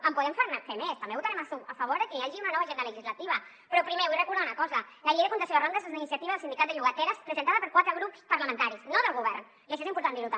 en podem fer més també votarem a favor que hi hagi una nova agenda legislativa però primer vull recordar una cosa la llei de contenció de rendes és una iniciativa del sindicat de llogateres presentada per quatre grups parlamentaris no del govern i això és important dir ho també